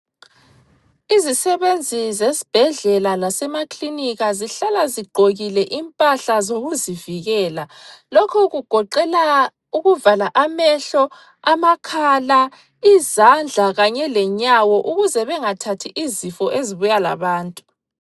Izisebenzi zasesibhedlela lasemakilinika sihlala zigqokile impahla zokuzivikela. Lokhu kugoqela ukuvala amehlo, amakhala, izandla kanye lenyawo ukuze bengathathi izifo ezibuya labantu.